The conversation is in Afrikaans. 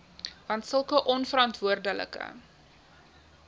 want sulke onverantwoordelike